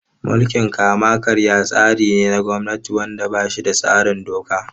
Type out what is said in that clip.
Mulkin kama-karya tsari ne na gwamnati wanda ba shi da tsarin doka.